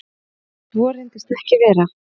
Svo reyndist ekki vera